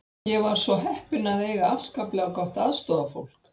Ég var svo heppin að eiga afskaplega gott aðstoðarfólk.